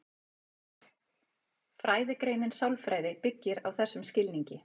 Fræðigreinin sálfræði byggist á þessum skilningi.